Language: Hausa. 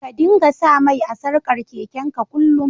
Ka dinga sa mai a'sarkan keken ka kullum.